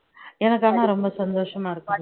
எனக்கு ஆனா ரொம்ப சந்தோஷமா இருக்குது